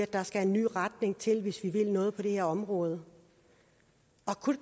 der skal en ny retning til hvis vi vil noget på det her område kunne